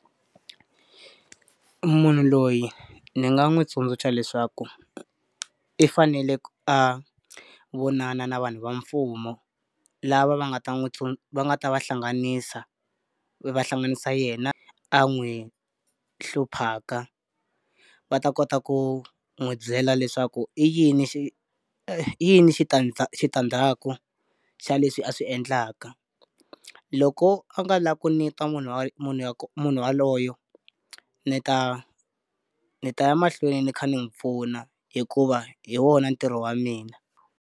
Munhu loyi ni nga n'wi tsundzuxa leswaku i fanele a vonana na vanhu va mfumo lava va nga ta n'wi tsu va nga ta va hlanganisa, va hlanganisa yena a n'wi hluphaka. Va ta kota ku n'wi byela leswaku i yini xi i yini xi xitandzaku xa leswi a swi endlaka. Loko a nga lavi ku ni twa munhu munhu yaloye, ni ta ni ta ya mahlweni ni kha ni n'wi pfuna hikuva hi wona ntirho wa mina.